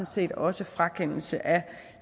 set også frakendelse af